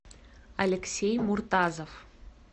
алексей муртазов